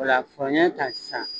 O la ɲkan sisan